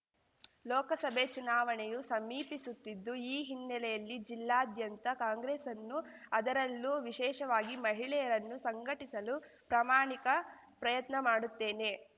ಲೋಕಸಭೆ ಚುನಾವಣೆಯೂ ಸಮೀಪಿಸುತ್ತಿದ್ದು ಈ ಹಿನ್ನೆಲೆಯಲ್ಲಿ ಜಿಲ್ಲಾದ್ಯಂತ ಕಾಂಗ್ರೆಸ್‌ನ್ನು ಅದರಲ್ಲೂ ವಿಶೇಷವಾಗಿ ಮಹಿಳೆಯರನ್ನು ಸಂಘಟಿಸಲು ಪ್ರಾಮಾಣಿಕ ಪ್ರಯತ್ನ ಮಾಡುತ್ತೇನೆ